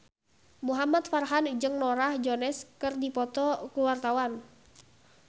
Muhamad Farhan jeung Norah Jones keur dipoto ku wartawan